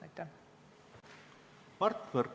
Mart Võrklaev, palun!